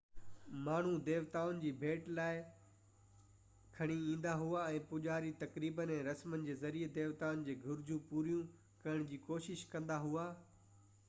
ماڻهو ديوتائن جي لاءِ ڀيٽ کڻي ايندا هئا ۽ پوجاري تقريبن ۽ رسمن جي ذريعي ديوتائن جي گهرجون پوريون ڪرڻ جي ڪوشش ڪندا هئا